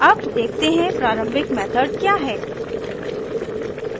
अब देखते हैं प्रारम्भिक मेथड क्या है